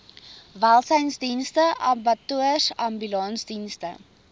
welsynsdienste abattoirs ambulansdienste